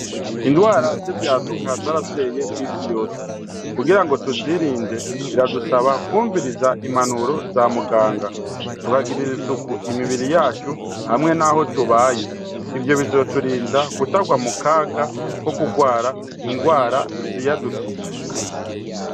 Indwara z'ivyaduka zarateye kw'isi yose, kugira ngo tuzirinde biradusaba kwumviriza impanuro za muganga, tukagirira isuku imibiri yacu hamwe naho tubaye. Ivyo bizoturinda kutagwa mu kaga ko kugwara indwara ziyadukije.